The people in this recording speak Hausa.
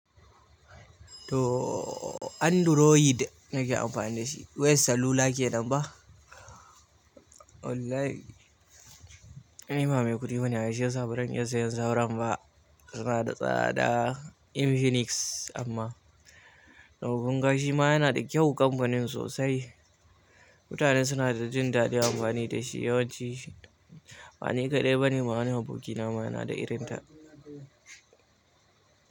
Tooo Android nake amfani da shi. Wayar salula ke nan ba? Online. Ni ba mai kuɗi bane ai shi ya sa bazan iyan sayen sauran ba. Su na da tsada. Infinix amma tau kunga shi ma yana da kyau, kamfanin sosai. Mutane suna da jin daɗin amfani da shi yawanci. Bani kaɗai bane ma wani abokina ma yana da irin ta.